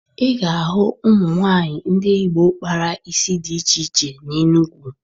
Ị ga-ahụ ụmụ nwaanyị ndị Igbo kpara isi dị iche iche n'Enugwu